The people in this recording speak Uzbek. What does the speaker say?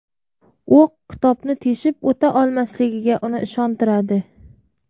O‘q kitobni teshib o‘ta olmasligiga uni ishontiradi.